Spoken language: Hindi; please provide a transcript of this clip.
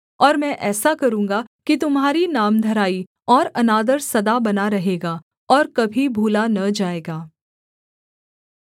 और मैं ऐसा करूँगा कि तुम्हारी नामधराई और अनादर सदा बना रहेगा और कभी भूला न जाएगा